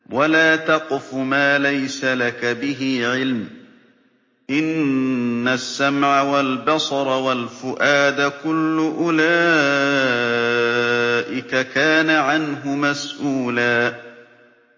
وَلَا تَقْفُ مَا لَيْسَ لَكَ بِهِ عِلْمٌ ۚ إِنَّ السَّمْعَ وَالْبَصَرَ وَالْفُؤَادَ كُلُّ أُولَٰئِكَ كَانَ عَنْهُ مَسْئُولًا